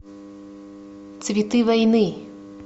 цветы войны